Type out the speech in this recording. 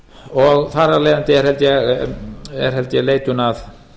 og þar af leiðandi er held ég leitun að